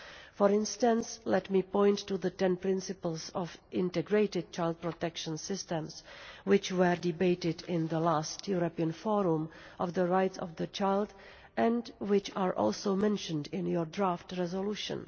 For instance, let me point to the Ten Principles on integrated child protection systems, which were debated in the last European Forum on the Rights of the Child and which are also mentioned in your draft resolution.